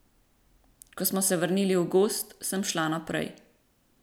Ko smo se vrnili v gozd, sem šla naprej.